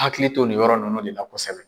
Hakili to nin yɔrɔ nunnu de la kosɛbɛ.